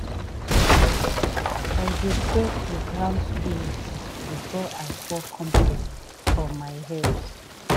i dey pray to ground spirit before i pour compost for my herbs.